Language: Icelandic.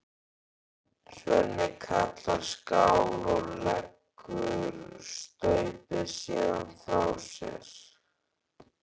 Svenni kallar skál og leggur staupið síðan frá sér.